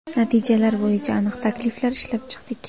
Natijalar bo‘yicha aniq takliflar ishlab chiqdik.